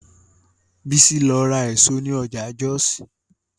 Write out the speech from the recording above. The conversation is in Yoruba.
Bísí lọ ra èso ní ọjà Jọ́ọ̀sì